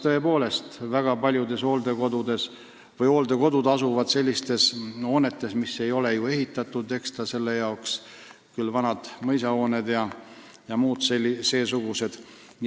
Tõepoolest, väga paljud hooldekodud asuvad sellistes majades, mis ei ole ehitatud ekstra selle jaoks – küll on vanad mõisahooned ja muud seesugused.